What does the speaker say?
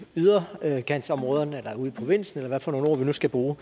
yderkantsområderne ude i provinsen eller hvad for nogle ord vi nu skal bruge